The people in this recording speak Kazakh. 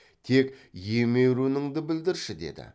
тек емеуірініңді білдірші деді